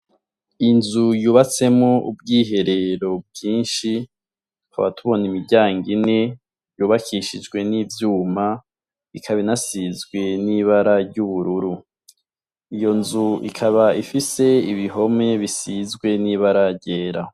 Inzu yubatsemo ubwiherero byinshi twaba tubona imiryango ine yubakishijwe n'ivyuma ikaba inasizwe n'ibara ryururu iyo nzu ikaba ifise ibihome bisizwe n'ibaragera.